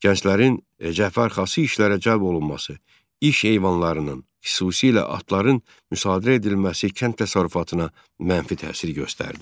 Gənclərin cəbhə arxası işlərə cəlb olunması, iş heyvanlarının, xüsusilə atların müsadirə edilməsi kənd təsərrüfatına mənfi təsir göstərdi.